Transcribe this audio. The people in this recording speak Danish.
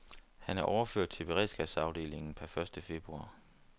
Han er overført til beredskabsafdelingen per første februar.